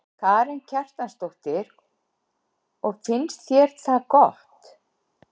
Karen Kjartansdóttir: Og finnst þér það gott?